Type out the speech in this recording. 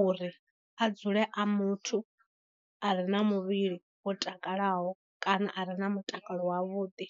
uri a dzule a muthu a re na muvhili wo takalaho kana a re na mutakalo wavhuḓi.